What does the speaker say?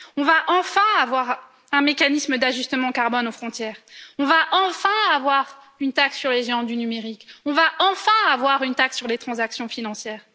On va enfin avoir un mécanisme d'ajustement carbone aux frontières, on va enfin avoir une taxe sur les géants du numérique, on va enfin avoir une taxe sur les transactions financières.